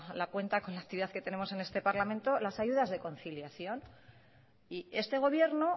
la cuenta con la actividad que tenemos en este parlamento las ayudas de conciliación y este gobierno